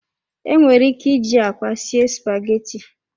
Enwere ike iji akwa sie spaghetti.